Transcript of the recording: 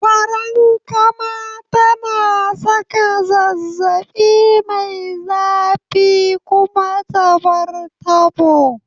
Farankama tana saka zazzabi mai zafi kuma ta bar tabo